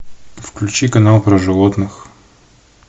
включи канал про животных